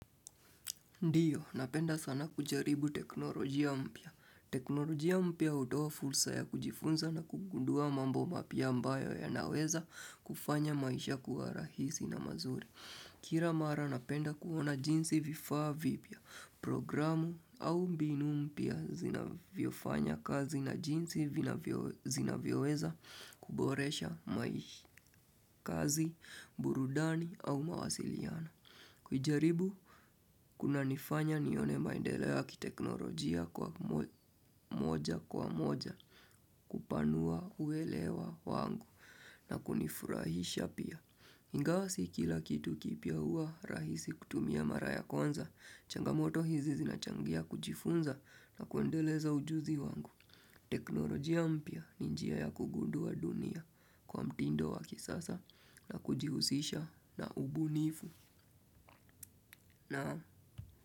Ndio, napenda sana kujaribu teknolojia mpya. Teknolojia mpya hutoa fursa ya kujifunza na kugundua mambo mapya ambayo yanaweza kufanya maisha kuwa rahisi na mazuri. Kila mara napenda kuona jinsi vifaa vipya, programu au mbinu mpya zinavyofanya kazi na jinsi zinavyoweza kuboresha maisha, kazi, burudani au mawasiliano. Kujaribu, kunanifanya nione maendeleo ya kiteknolojia kwa moja kwa moja, kupanua uelewa wangu na kunifurahisha pia. Ingawa si kila kitu kipya huwa rahisi kutumia mara ya kwanza, changamoto hizi zinachangia kujifunza na kuendeleza ujuzi wangu. Teknolojia mpya ni njia ya kugundua dunia kwa mtindo wa kisasa na kujihusisha na ubunifu. Naam.